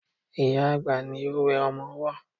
Ìyá-àgbà ni ó wẹ ọmọ ọwọ́